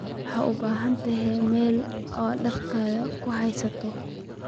Waxaad u baahan tahay meel aad dharkaaga ku haysato.